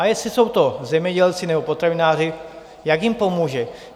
A jestli jsou to zemědělci nebo potravináři, jak jim pomůže?